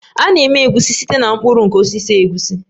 A na-eme Egusi site na mkpụrụ nke osisi egusi